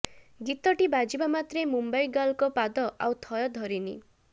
ଗୀତଟି ବାଜିବା ମାତ୍ରେ ମୁମ୍ୱାଇ ଗାର୍ଲଙ୍କ ପାଦ ଆଉ ଥୟ ଧରିନି